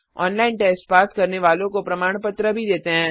उनको प्रमाण पत्र भी देते हैं जो ऑनलाइन टेस्ट पास करते हैं